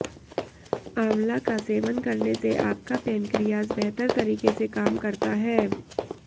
आंवला का सेवन करने से आपका पेनक्रियाज बेहतर तरीके से काम करता है